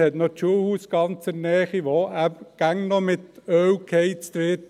Die Gemeinde hat ihr Schulhaus ganz in der Nähe, das noch immer mit Öl geheizt wird: